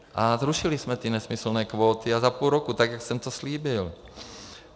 A zrušili jsme ty nesmyslné kvóty, a za půl roku, tak jak jsem to slíbil.